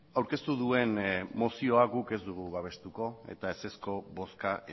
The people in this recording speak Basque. aurkeztu duen mozioa guk ez dugu babestuko eta ezezko bozka